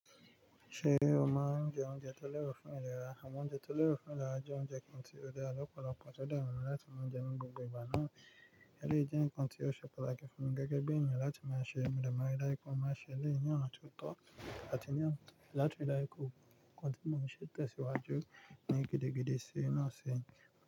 Ṣé o máa ń jẹ oúnjẹ tó lẹ́rọ fún ìlera? Àmọ́ oúnjẹ tó lẹ́ro fún ìlera jẹ́ oúnjẹ kan tí ó dára lọ́pọ̀lọpọ̀ tó dára láti máa jẹ ní gbogbo ìgbà náà. Elèyi jẹ́ ǹkan tí ó ṣe pàtàkì fún gẹ́gẹ́ bí ènìyàn láti máa ṣe mo de maa n ri dáju pe mo n máa ṣe elèyi ní ọ̀nà tó tọ́ àti ní ona láti dára ikọ́. Ǹkan tí mo ń ṣe tẹsiwaju ni gidigidi sí inú ọ̀sìn.